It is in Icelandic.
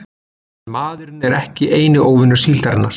En maðurinn er ekki eini óvinur síldarinnar.